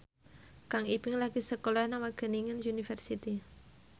Kang Ibing lagi sekolah nang Wageningen University